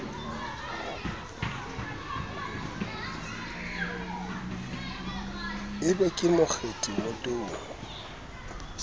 e be ke mokgethi wotong